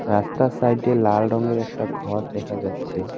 রাস্তার সাইডে লাল রঙের একটা ঘর দেখা যাচ্ছে।